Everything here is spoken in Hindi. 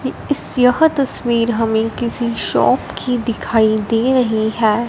इस यह तस्वीर हमें किसी शॉप की दिखाई दे रही है।